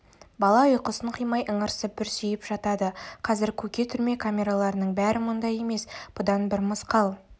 бала ұйқысын қимай ыңырсып бүрсиіп жатады қазір көке түрме камераларының бәрі мұндай емес бұдан бір мысқал